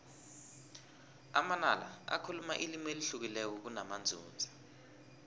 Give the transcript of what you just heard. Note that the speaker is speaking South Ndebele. amanala bakhuluma ilimi elihlukileko namanzunza